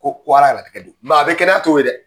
a bɛɛ kɛnɛya t'o ye dɛ.